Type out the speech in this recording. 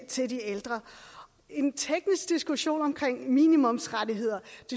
til de ældre en teknisk diskussion om minimumsrettigheder